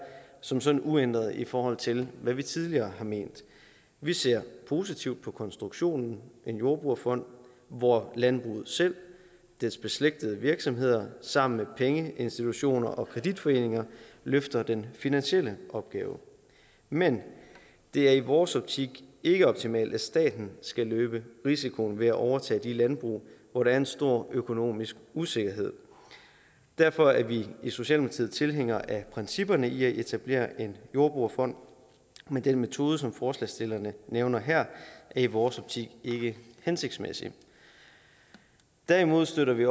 som sådan uændret i forhold til hvad vi tidligere har ment vi ser positivt på konstruktionen en jordbrugerfond hvor landbruget selv og dets beslægtede virksomheder sammen med pengeinstitutter og kreditforeninger løfter den finansielle opgave men det er i vores optik ikke optimalt at staten skal løbe risikoen ved at overtage de landbrug hvor der er en stor økonomisk usikkerhed derfor er vi i socialdemokratiet tilhængere af principperne i at etablere en jordbrugerfond men den metode som forslagsstillerne nævner her er i vores optik ikke hensigtsmæssig derimod støtter vi